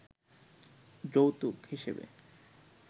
যৌতুক হিসেবে